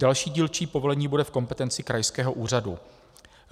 Další dílčí povolení bude v kompetenci krajského úřadu.